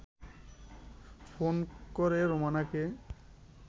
phone করে রোমানাকে